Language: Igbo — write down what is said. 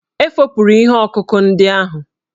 E fopụrụ ihe ọkụkụ ndị ahụ.